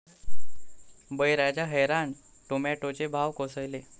बळीराजा हैराण, टोमॅटोचे भाव कोसळले